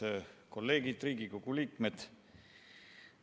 Head kolleegid, Riigikogu liikmed!